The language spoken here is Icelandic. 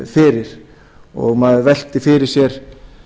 fyrir og maður veltir fyrir sér